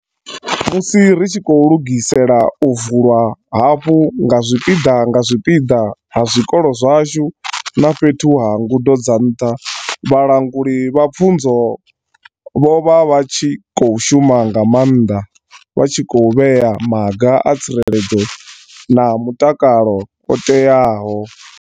Musi ri tshi khou lugisela u vulwa hafhu nga zwipiḓa nga zwipiḓa ha zwikolo zwashu na fhethu ha ngudo dza nṱha, vhalanguli vha pfunzo vho vha vha tshi khou shuma nga maanḓa vha tshi khou vhea maga a tsireledzo na mutakalo o teaho.